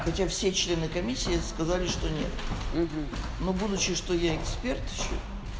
причём все члены комиссии сказали что нет но будучи что я эксперт ещё